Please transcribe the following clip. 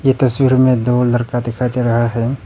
तस्वीर में दो लड़का दिखाई दे रहा है।